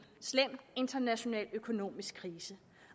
slem international økonomisk krise